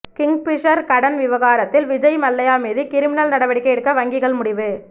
Kingfisher கடன் விவகாரத்தில் விஜய் மல்லையா மீது கிரிமினல் நடவடிக்கை எடுக்க வங்கிகள் முடிவு